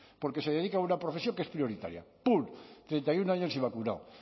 porque se dedica una profesión que es prioritaria pum treinta y uno años y vacunado